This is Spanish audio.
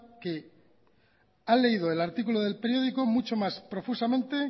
que ha leído el artículo del periódico mucho más profusamente